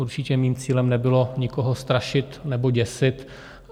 Určitě mým cílem nebylo nikoho strašit nebo děsit.